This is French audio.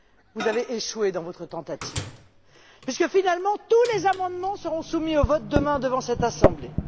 Vous avez échoué dans votre tentative, puisque finalement tous les amendements seront soumis au vote demain devant cette assemblée.